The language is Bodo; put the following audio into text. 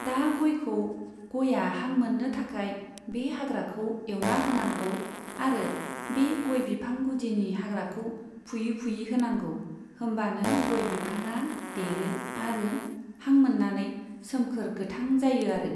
दा गयखौ, गया हां मोननो थाखाय बे हाग्राखौ एवना होनांगौ आरो बे गय बिफां गुदिनि हाग्राखौ फुयै फुयै होनांगौ होमबानो गय बिफाङा देरो आरो हां मोननानै सोमखोर गोथां जायो आरो।